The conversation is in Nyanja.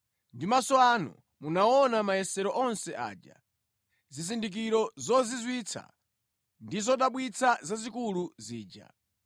Ndi maso anu munaona mayesero onse aja, zizindikiro zozizwitsa ndi zodabwitsa zazikulu zija.